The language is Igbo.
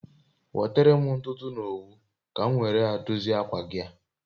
Nwetere m ntutu na owu ka m nwere a dozie akwa gi a